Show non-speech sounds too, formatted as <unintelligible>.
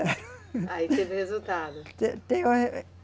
<laughs> Aí teve resultado? <unintelligible>